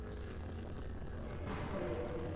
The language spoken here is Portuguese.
Como é que foi assim?